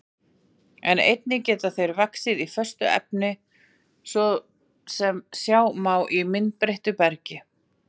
En einnig geta þeir vaxið í föstu efni, svo sem sjá má í myndbreyttu bergi.